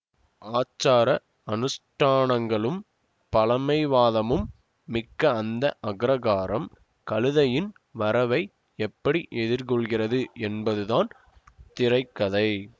ஆச்சார அனுஷ்டானங்களும் பழமைவாதமும் மிக்க அந்த அக்ரஹாரம் கழுதையின் வரவை எப்படி எதிர்கொள்கிறது என்பதுதான் திரை கதை